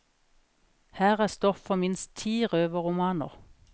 Her er stoff for minst ti røverromaner.